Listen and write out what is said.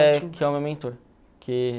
que é que é o meu mentor.